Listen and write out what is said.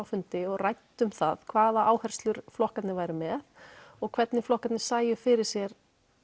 fundi og ræddum það hvaða áherslur flokkarnir væru með og hvernig flokkarnir sæju fyrir sér